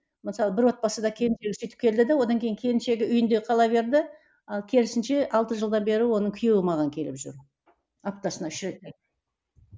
мысалы бір отбасыда келіншегі сөйтіп келді де одан кейін келіншегі үйінде қала берді ал керісінше алты жылдан бері оның күйеуі маған келіп жүр аптасына үш реттен